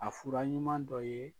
A fura ɲuman dɔ ye